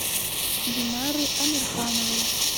динары амирхановой